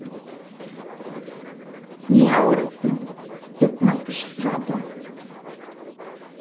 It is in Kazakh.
не аурусың деп мақыш сұрады